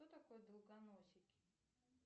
кто такой долгоносики